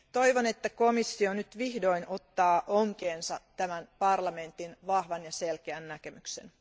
Toivon, että komissio vihdoinkin ottaa onkeensa tämän parlamentin vahvan ja selkeän näkemyksen.